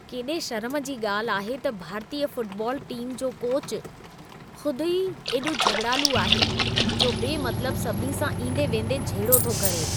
केॾे शर्म जी ॻाल्हि आहे त भारतीय फुटबॉल टीम जो कोच ख़ुद ई एॾो झॻिड़ालू आहे, जो बेमतलब सभिनी सां ईंदे वेंदे झेड़ो थो करे।